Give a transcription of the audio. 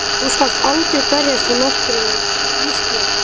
Þú skalt aldrei berjast við náttúruna Ísbjörg.